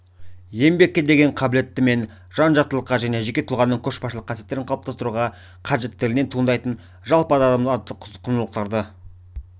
еңбекке деген қабілеттімен жан-жақтылыққа және жеке тұлғаның көшбасшылық қасиеттерін қалыптастыруға қажеттілігінен туындайтын жалпы азаматтық құндылықтарды